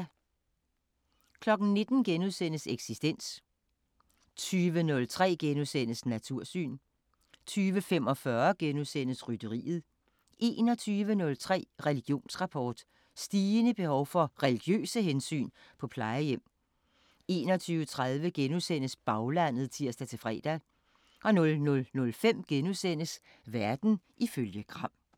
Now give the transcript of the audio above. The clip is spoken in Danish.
19:00: Eksistens * 20:03: Natursyn * 20:45: Rytteriet * 21:03: Religionsrapport: Stigende behov for religiøse hensyn på plejehjem 21:30: Baglandet *(tir-fre) 00:05: Verden ifølge Gram *